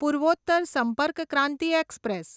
Purvottar Sampark Kranti express